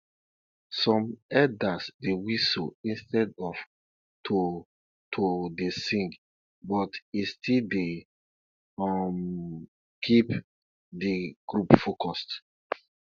some elders dey whistle instead of to to dey sing but it still dey um keep de group focused